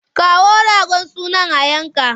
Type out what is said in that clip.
Kawo ragon sunan a yanka!